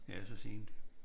Ja så sent